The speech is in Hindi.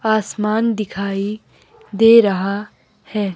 आसमान दिखाई दे रहा है।